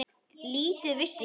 Lítið vissi ég.